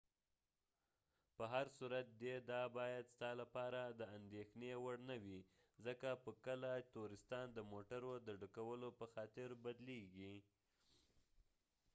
به هر صورت دي دا باید ستا لپاره د انديښنی وړ نه وي ،ځکه چې کله تورستان د موټرو د ډکولو په خاطر بدلیږی